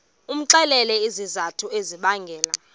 umxelele izizathu ezibangela